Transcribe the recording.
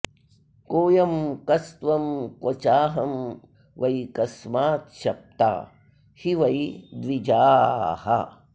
कोऽयं कस्त्वं क्व चाहं वै कस्माच्छप्ता हि वै द्विजाः